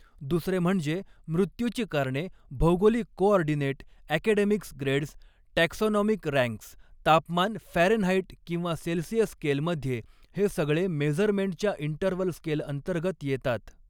दुसरे म्हणजे मृत्यूची कारणे भौगोलिक coordinate academics grades taxonomic ranks तापमान फॅरनहाईट किंवा सेल्सिअस स्केलमध्ये हे सगळे मेझरमेन्टच्या इंटरवल स्केल अंतर्गत येतात.